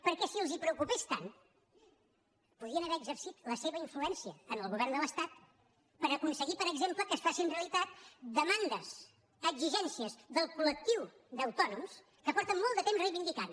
perquè si els preocupés tant podien haver exercit la seva influència en el govern de l’estat per aconseguir per exemple que es facin realitat demandes exigències del colfa molt de temps que reivindiquen